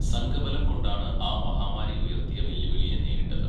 സംഘബലം കൊണ്ടാണ് ആ മഹാമാരി ഉയർത്തിയ വെല്ലുവിളിയെ നേരിട്ടത്.